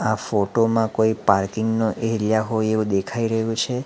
આ ફોટો માં કોઈ પાર્કિંગ નો એરિયા હોય એવું દેખાઈ રહ્યું છે.